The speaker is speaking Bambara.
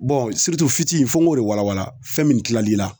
Bɔn surutu fiti fo n k'o de walawala fɛn min kil' ila